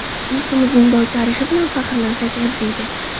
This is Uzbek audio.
Yurtimizning boy tarixi bilan faxrlansak arziydi.